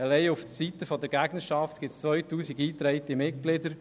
Allein auf der Seite der Gegnerschaft gibt es 2000 eingetragene Mitglieder.